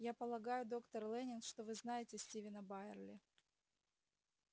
я полагаю доктор лэннинг что вы знаете стивена байерли